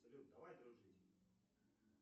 салют давай дружить